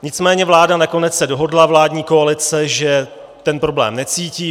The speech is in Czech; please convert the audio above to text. Nicméně vláda nakonec se dohodla, vládní koalice, že ten problém necítí.